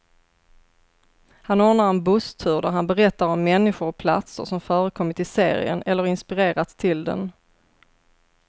Han ordnar en busstur där han berättar om människor och platser som förekommit i serien, eller inspirerat till den.